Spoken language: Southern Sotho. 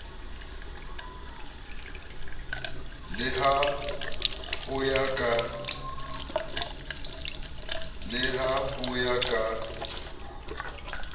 le ha ho ya ka